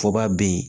Fɔba bɛ yen